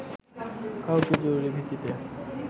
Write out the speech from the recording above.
কাউকে জরুরী ভিত্তিতে